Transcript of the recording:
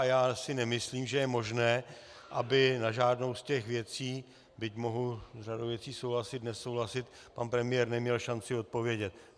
A já si nemyslím, že je možné, aby na žádnou z těch věcí, byť mohu s řadou věcí souhlasit, nesouhlasit, pan premiér neměl šanci odpovědět.